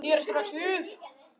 Ég sneri strax við.